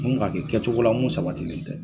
Mun k'a kɛ kɛcogo la mun sabatilen tɛ